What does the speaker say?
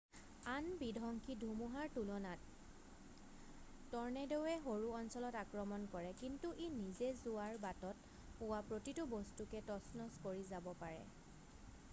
আন বিধংসী ধুমুহাৰ তুলনাত ট'ৰ্নেড'ৱে সৰু অঞ্চলত আক্ৰমণ কৰে কিন্তু ই নিজে যোৱাৰ বাটত পোৱা প্ৰতিটো বস্তুকে তচনচ কৰি যাব পাৰে